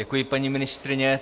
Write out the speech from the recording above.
Děkuji, paní ministryně.